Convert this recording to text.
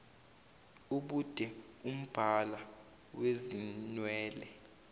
ubude umbala wezinwele